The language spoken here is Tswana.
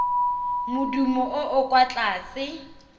modumo o o kwa tlase